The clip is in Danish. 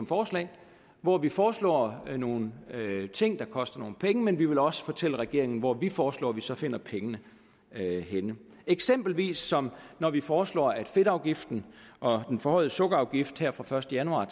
forslag hvor vi foreslår nogle ting der koster nogle penge men vi vil også fortælle regeringen hvor vi foreslår at vi så finder pengene henne eksempelvis som når vi foreslår at fedtafgiften og den forhøjede sukkerafgift her fra første januar